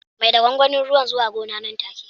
Mai da gwangwanin ruwan zuwa gona nan take